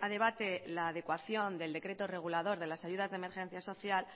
a debate la adecuación del decreto regulador de las ayudas de emergencia social